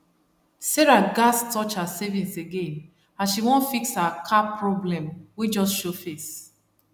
sarah gats touch her savings again as she wan fix her car problem wey just show face